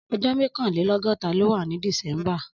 Ọjọ mọkànlélọgọta ló wà ni dísèmbá